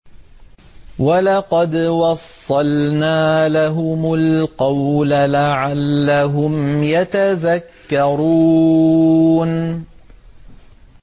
۞ وَلَقَدْ وَصَّلْنَا لَهُمُ الْقَوْلَ لَعَلَّهُمْ يَتَذَكَّرُونَ